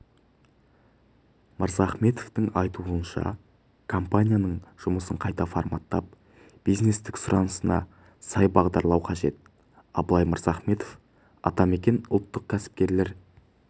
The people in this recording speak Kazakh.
мырзахметовтың айтуынша компанияның жұмысын қайта форматтап бизнестің сұранысына сай бағдарлау қажет абылай мырзахметов атамекен ұлттық кәсіпкерлер